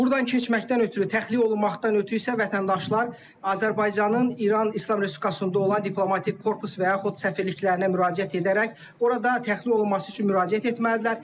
Burdan keçməkdən ötrü, təxliyə olunmaqdan ötrü isə vətəndaşlar Azərbaycanın İran İslam Respublikasında olan diplomatik korpus və yaxud səfirliklərinə müraciət edərək orada təxliyə olunması üçün müraciət etməlidirlər.